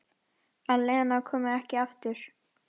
Að Lena komi ekki aftur.